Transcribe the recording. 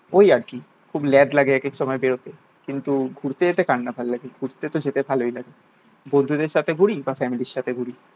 ওই আর কি খুব ল্যাদ লাগে একেক সময় বেরোতে। কিন্তু ঘুরতে যেতে কার ভালো লাগে? ঘুরতে তো যেতে ভালোই লাগে। বন্ধুদের সাথে ঘুরি বা ফ্যামিলির সাথে ঘুরি।